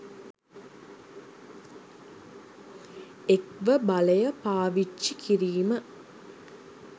එක්ව බලය පාවිච්චි කිරීම